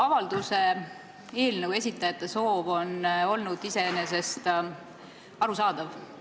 Avalduse eelnõu esitajate soov on iseenesest arusaadav.